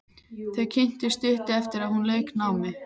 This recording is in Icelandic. Þau kynntust stuttu eftir að hún lauk námi.